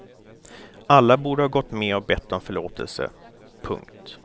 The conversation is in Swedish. Alla borde ha gått med och bett om förlåtelse. punkt